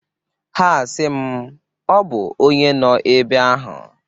Ha a sị m "Ọ bụ onyee nọ ebe ahụ?"